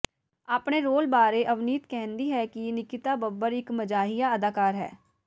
ਆਪਣੇ ਰੋਲ ਬਾਰੇ ਅਵਨੀਤ ਕਹਿੰਦੀ ਹੈ ਕਿ ਨਿਕਿਤਾ ਬੱਬਰ ਇਕ ਮਜ਼ਾਹੀਆ ਅਦਾਕਾਰ ਹੈ